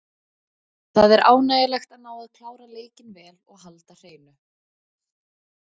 Það er ánægjulegt að ná að klára leikinn vel og halda hreinu.